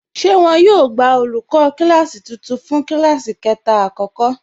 Ṣé wọn yóò gbà olùkọ kílásí tuntun fún kílásí 3 àkọ́kọ́?